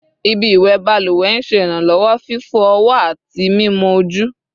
Ibi iwẹ baluwe n ṣe iranlọwọ fifọ ọwọ ati mimọ oju